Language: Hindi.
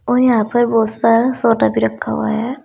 और यहां पर बहुत सारा सोना भी रखा हुआ है।